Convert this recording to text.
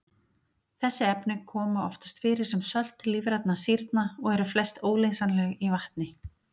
Þessi efni koma oftast fyrir sem sölt lífrænna sýrna og eru flest óleysanleg í vatni.